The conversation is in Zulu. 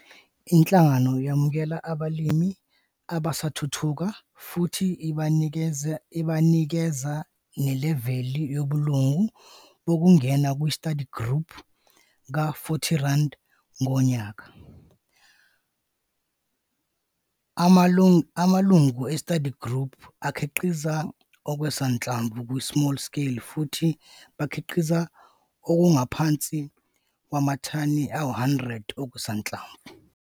Inhlangano yamukela abalimi abasathuthuka futhi ibanikeze neleveli yobulungu bokungena ku-study group ka-R40,00 ngonyaka. Amalungu e-study group akhiqiza okusanhlamvu ku-small scale futhi bakhiqiza okungaphansi kwamathani ayi-100 okusanhlamvu.